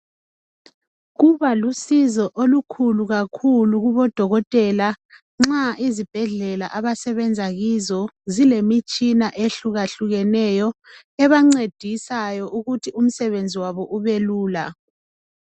Kuba lusizo olukhulu kakhulu kubodokotela nxa izibhedlela abasebenza kizo zilemitshina ehlukeneyo ebancedisayo ukuthi umsebenzi wabo ubelula.